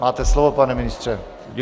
Máte slovo, pane ministře.